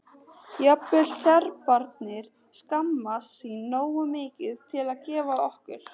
Jafnvel Serbarnir skammast sín nógu mikið til að gefa okkur